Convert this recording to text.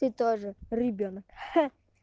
ты тоже ребёнок ха